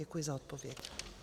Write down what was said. Děkuji za odpověď.